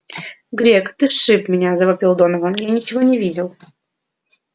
грег ты сшиб меня завопил донован я ничего не видел